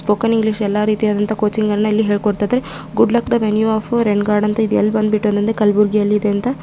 spoken English ಎಲ್ಲರೀತಿ ಆದಂತಹ coaching ಅಣ್ಣ ಇಲ್ಲಿ ಹೇಳಿ ಕೊಡ್ತಾ ಇದ್ದಾರೆ good luck the venue of rain god ಅಂತ ಇದೆ ಎಲ್ಲಿ ಬಂದ್ ಬಿಟ್ಟ ಅಂದ್ರೆ ಕಲ್ಬುರ್ಗಿ ಯಲ್ಲಿ ಇದೆ ಅಂತ----